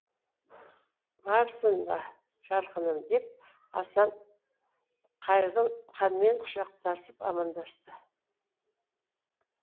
барсың ба жарқыным деп асан қайғы ханмен құшақтасып амандасты